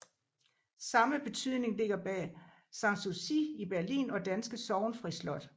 Samme betydning ligger bag Sanssouci i Berlin og danske Sorgenfri Slot